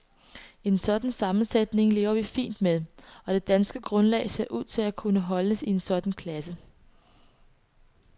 En sådan sammensætning lever vi fint med, og det danske grundlag ser ud til at kunne holdes i en sådan klasse.